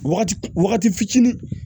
Waga wagati fitini